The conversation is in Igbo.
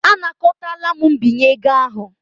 Anakọtala m mbinye ego ahụ.